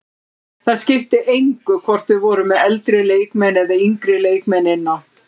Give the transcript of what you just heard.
Það skipti engu hvort við vorum með eldri leikmenn eða yngri leikmenn inn á.